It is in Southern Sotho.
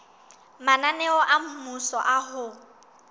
mananeo a mmuso a ho